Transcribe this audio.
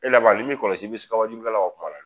E laban n'i m'i kɔlɔsi i bi sika wajulikɛlaw ka kuma la